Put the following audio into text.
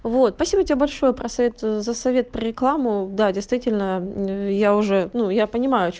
вот спасибо тебе большое про совет за совет про рекламу да действительно я уже ну я понимаю о ч